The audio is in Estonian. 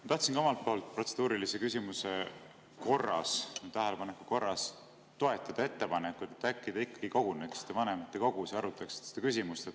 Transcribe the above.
Ma tahtsin ka omalt poolt protseduurilise küsimuse korras, tähelepaneku korras toetada ettepanekut, et äkki te ikkagi koguneksite vanematekogus ja arutaksite seda küsimust.